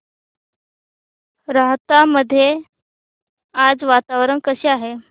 राहता मध्ये आज वातावरण कसे आहे